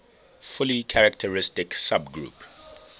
fully characteristic subgroup